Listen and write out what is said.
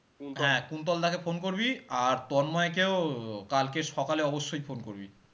কুন্তল দা কে phone করবি আর তন্ময়কেও কালকে সকালে অবশই phone করবি